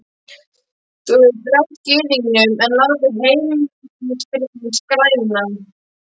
Þú hefur drekkt Gyðingnum en látið Heimilisfriðinn skrælna!